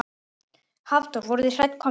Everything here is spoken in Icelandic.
Hafþór: Voruð þið hætt komnir?